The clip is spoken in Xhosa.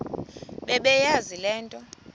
bebeyazi le nto